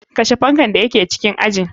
Kashe fankan da yake cikin ajin.